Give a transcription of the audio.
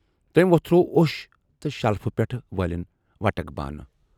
تمٔۍ وۅتھروو اوش تہٕ شلفہٕ پٮ۪ٹھٕ وٲلِنۍ وَٹک بانہٕ۔